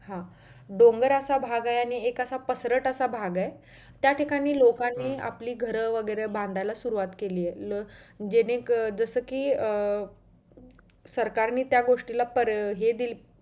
हा डोंगर असा भाग आहे आणि एक असा पसरट असा भाग आहे त्या ठिकाणी लोकांनी आपली असं घर वगैरे बांधायला सुरुवात केली आहे जे जस कि अं सरकारने त्या गोष्टीला पर हे दिली